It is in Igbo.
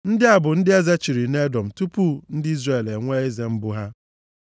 Ndị a bụ ndị eze chịrị nʼEdọm tupu ndị Izrel enwee eze mbụ ha.